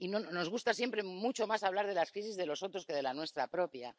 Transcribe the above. Nos gusta siempre mucho más hablar de las crisis de los otros que de la nuestra propia.